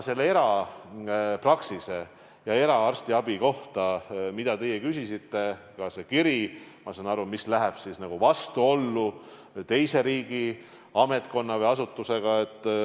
Aga erapraksis ja eraarstiabi, mille kohta teie küsisite – ma saan aru, et see kiri läheb vastuollu teise riigiametkonna või -asutusega.